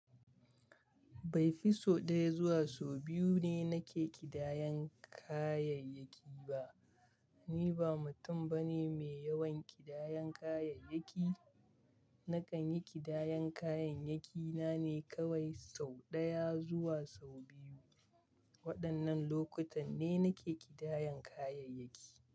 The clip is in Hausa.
Bai fi sau ɗaya zuwa sau biyu ne nake ƙidayan kayayyaki ba. Ni ba mutum bane mai yawan ƙidayan kayayyaki. Nakan yi ƙidayan kayayyaki na ne kawai sau ɗaya zuwa sau biyu. Waɗannan lokutan ne nake ƙidayan kayayyaki.